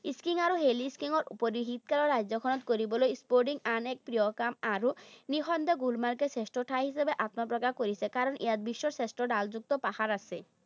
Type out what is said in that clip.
Skiing আৰু hilly skiing ৰ উপৰিও শীতকালত ৰাজ্যখনত কৰিবলগীয়া। Snowboarding আন এক প্ৰিয় কাম। আৰু নিঃসন্দেহে গুলমাৰ্গ শ্ৰেষ্ঠ ঠাই হিচাপে আত্মপ্ৰকাশ কৰিছে। কাৰণ ইয়াত বিশ্বৰ শ্ৰেষ্ঠ ঢালযুক্ত পাহাৰ আছে।